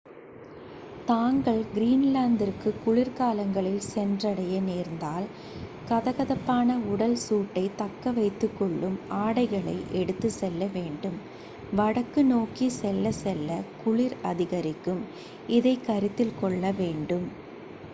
தாங்கள் கிரீன்லாந்திற்கு குளிர்காலங்களில் சென்றடைய நேர்ந்தால் கதகதப்பான உடல் சூட்டைத் தக்கவைத்துக்கொள்ளும் ஆடைகளை எடுத்துச் செல்ல வேண்டும் வடக்கு நோக்கிச் செல்லச்செல்ல குளிர் அதிகரிக்கும் இதை கருத்தில் கொள்ள வேண்டும்